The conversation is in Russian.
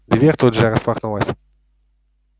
дверь тут же распахнулась